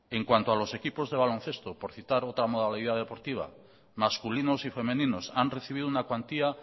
en cuanto a los equipos de baloncesto por citar otra modalidad deportiva masculinos y femeninos han recibido una cuantía